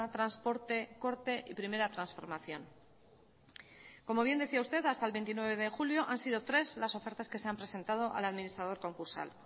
transporte corte y primera transformación como bien decía usted hasta el veintinueve de julio han sido tres las ofertas que se han presentado al administrador concursal